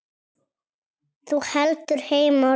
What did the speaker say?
Þú heldur heim á leið.